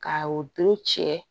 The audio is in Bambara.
Ka o doro cɛ